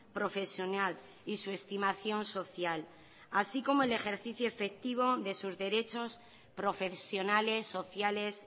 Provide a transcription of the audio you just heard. profesional y su estimación social así como el ejercicio efectivo de sus derechos profesionales sociales